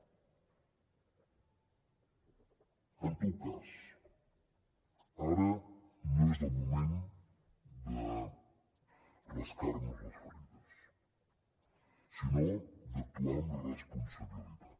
en tot cas ara no és el moment de rascar nos les ferides sinó d’actuar amb responsabilitat